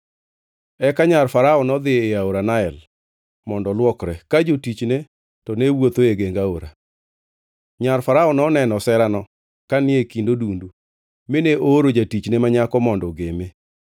Eka nyar Farao nodhi e aora Nael mondo olwokre, ka jotichne to ne wuotho e geng aora. Nyar Farao noneno oserano ka ni e kind odundu, mine ooro jatichne ma nyako mondo ogeme.